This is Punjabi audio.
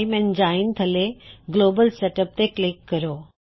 ਇਮੈਂਜੀਨ ਥੱਲੇ ਗਲੋਬਲ ਸੈਟਅਪ ਤੇ ਕਲਿੱਕ ਕਰੋ